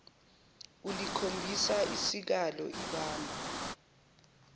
ulikhombisa isikalo ibamba